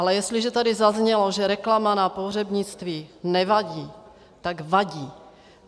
Ale jestliže tady zaznělo, že reklama na pohřebnictví nevadí, tak vadí.